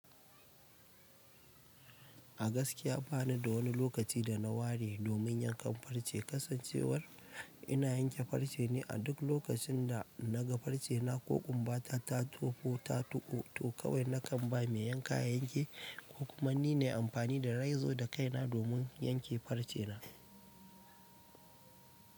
A gaskiya ba ni da wani lokaci da na ware domin yankan farce. Kasancewar ina yanke farce ne a duk lokacin da na ga farce na ko kumbata ta tofo ta tuƙu, to kawai na kan ba mai yanka ya yanke, ko kuma ni ne amfani da reizo da kaina domin yanke farce na.